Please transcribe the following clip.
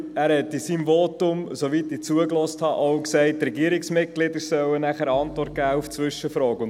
Er hat in seinem Votum, soweit ich zugehört habe, gesagt, die Regierungsmitglieder sollen Zwischenfragen beantworten.